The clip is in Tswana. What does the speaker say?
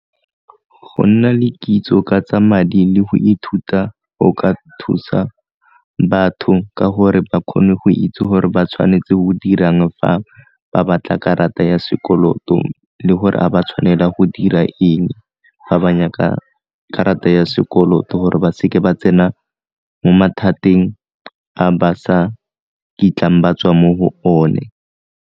Go nna le kitso ka tsa madi le go ithuta go ka thusa batho ka gore ba kgone go itse gore ba tshwanetse go dirang fa ba batla karata ya sekoloto le gore a ba tshwanela go dira eng fa ba nyaka karata ya sekoloto gore ba seke ba tsena mo mathateng a ba sa kitlang ba tswa mo go one.